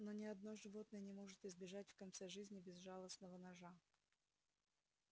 но ни одно животное не может избежать в конце жизни безжалостного ножа